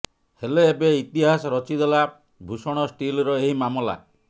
ହେଲେ ଏବେ ଇତିହାସ ରଚିଦେଲା ଭୂଷଣ ଷ୍ଟିଲର ଏହି ମାମଲା